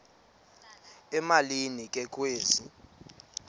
emalini ke kwezi